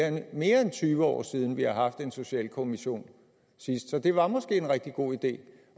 er mere end tyve år siden vi har haft en socialkommission sidst så det var måske en rigtig god idé